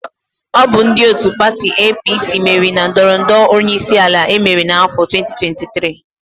Ọ bụ ndị òtù pati EePiiSii meriri na ndọrọ ndọrọ onyeisiala emere n'áfọ 2023.